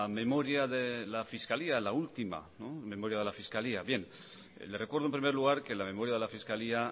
memoria de la fiscalía la última le recuerdo en primer lugar que la memoria de la fiscalía